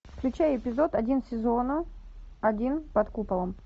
включай эпизод один сезона один под куполом